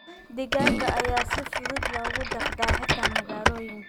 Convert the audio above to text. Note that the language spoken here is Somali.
Digaagga ayaa si fudud loogu dhaqdaa xitaa magaalooyinka.